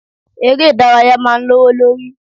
Ere ìdárayá máa ń lowo lórí.